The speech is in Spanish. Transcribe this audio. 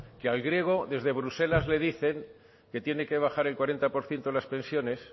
que al griego desde bruselas le dicen que tiene que bajar el cuarenta por ciento las pensiones